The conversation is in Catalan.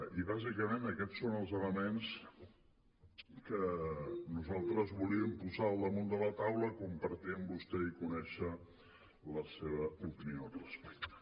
i bàsicament aquests són els elements que nosaltres volíem posar al damunt de la taula compartir amb vostè i conèixer la seva opinió al respecte